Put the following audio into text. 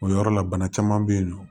O yɔrɔ la bana caman be yen nɔ